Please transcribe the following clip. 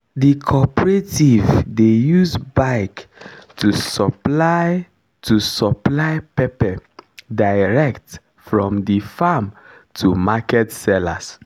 the corporative dey use bike to supply to supply pepper direct from the farm to market sellers